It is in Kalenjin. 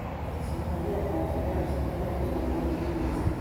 somaneekab sayance komnai kipsomaninik misiing